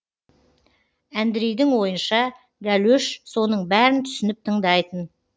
әндрейдің ойынша гәлөш соның бәрін түсініп тыңдайтын